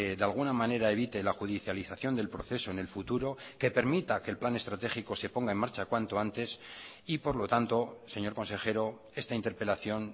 de alguna manera evite la judicialización del proceso en el futuro que permita que el plan estratégico se ponga en marcha cuanto antes y por lo tanto señor consejero esta interpelación